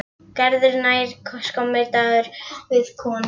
Gerður nær samkomulagi við konu hans.